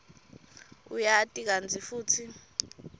uyati kantsi futsi